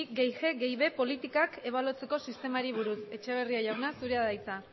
batgarren más g más b politikak ebaluatzeko sistemari buruz etxebarria jauna zure da hitza